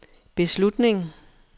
beslutning